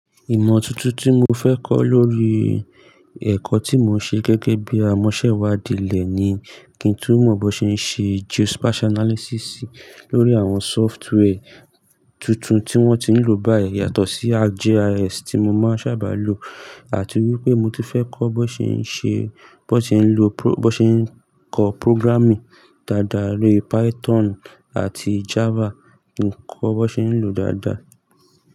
Ìmọ̀ tuntun tí mo fẹ́ kọ́ lórí ẹ̀kọ́ tí mò ń ṣe gẹ́gẹ́ bí i amọ́ṣẹ́wàdí elẹ̀ ni kí n tú mọ̀ bó ṣe ń ṣe geospatial analysis lórí àwọn software tuntun tí wọ́n ti ń lò báyìí yàtọ̀ sí ArcGIS tí mo máa ń sábà lò àti wípé mo ti fẹ́ kọ́ bó ṣe ń ṣe, bó ṣe ń lò pro-- bó ṣe ń kọ programming dáadáa, bi Python àti Java, kí n kọ́ bó ṣe ń lò dáadáa.